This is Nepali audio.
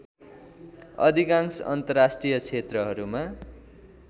अधिकांश अन्तर्राष्ट्रीय क्षेत्रहरूमा